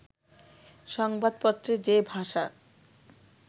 সংবাদপত্রে যে ভাষা